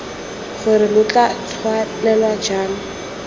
gore lo tla tswelela jang